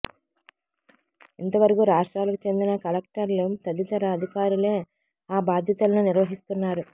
ఇంతవరకు రాష్ట్రాలకు చెందిన కలెక్టర్లు తదితర అధికారులే ఆ బాధ్యతలను నిర్వహిస్తున్నారు